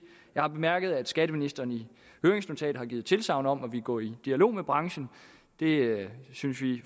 jeg har bemærket at skatteministeren i høringsnotatet har givet tilsagn om at ville gå i dialog med branchen det synes vi i